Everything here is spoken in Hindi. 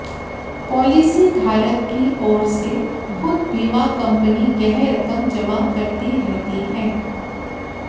पॉलिसीधारक की ओर से खुद बीमा कंपनी यह रकम जमा करती रहती है